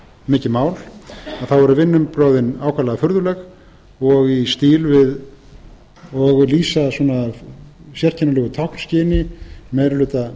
mikið mál þá eru vinnubrögðin ákaflega furðuleg og lýsa svona sérkennilegu táknskyni meiri hluta menntamálanefndar að taka þá áhættu að